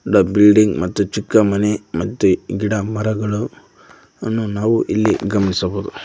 Building ಮತ್ತು ಚಿಕ್ಕಮನೆ ಮತ್ತು ಗಿಡಮರಗಳು ಅನ್ನು ನಾವು ಇಲ್ಲಿ ಗಮನಿಸಬಹುದು.